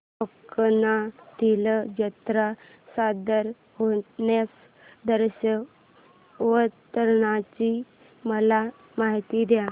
कोकणातील जत्रेत सादर होणार्या दशावताराची मला माहिती दे